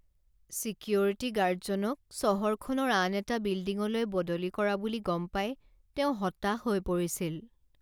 Security গাৰ্ডজনক চহৰখনৰ আন এটা বিল্ডিঙলৈ বদলি কৰা বুলি গম পাই তেওঁ হতাশ হৈ পৰিছিল।